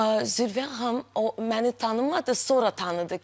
Zirvə xanım o məni tanımadı, sonra tanıdı ki.